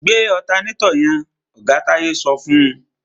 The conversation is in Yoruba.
Gbé ọ̀tanátọ̀ yẹn! Oga Táyé sọ fún.